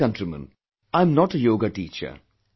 My dear countrymen, I am not a Yoga teacher